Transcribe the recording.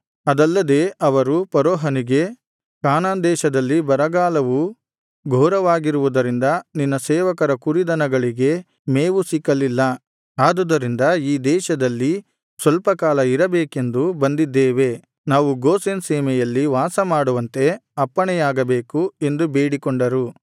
ಅದಲ್ಲದೆ ಅವರು ಫರೋಹನಿಗೆ ಕಾನಾನ್‌ ದೇಶದಲ್ಲಿ ಬರಗಾಲವು ಘೋರವಾಗಿರುವುದರಿಂದ ನಿನ್ನ ಸೇವಕರ ಕುರಿದನಗಳಿಗೆ ಮೇವು ಸಿಕ್ಕಲಿಲ್ಲ ಆದುದರಿಂದ ಈ ದೇಶದಲ್ಲಿ ಸ್ವಲ್ಪಕಾಲ ಇರಬೇಕೆಂದು ಬಂದಿದ್ದೇವೆ ನಾವು ಗೋಷೆನ್ ಸೀಮೆಯಲ್ಲಿ ವಾಸಮಾಡುವಂತೆ ಅಪ್ಪಣೆಯಾಗಬೇಕು ಎಂದು ಬೇಡಿಕೊಂಡರು